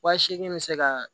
Wa seegin bɛ se ka